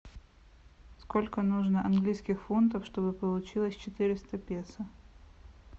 сколько нужно английских фунтов чтобы получилось четыреста песо